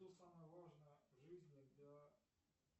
что самое важное в жизни для